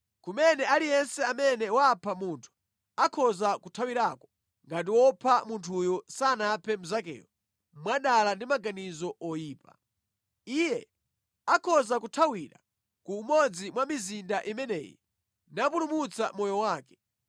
kumene aliyense amene wapha munthu akhoza kuthawirako ngati wopha munthuyo sanaphe mnzakeyo mwadala ndi maganizo oyipa. Iye akhoza kuthawira ku umodzi mwa mizinda imeneyi napulumutsa moyo wake.